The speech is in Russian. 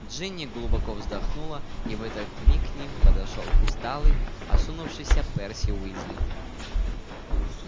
джинни глубоко вздохнула и в этот миг к ним подошёл усталый осунувшийся перси уизли